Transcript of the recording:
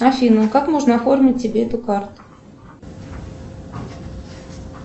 афина как можно оформить тебе эту карту